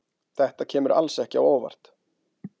Þetta kemur alls ekki á óvart.